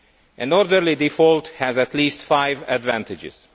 An orderly default has at least five advantages.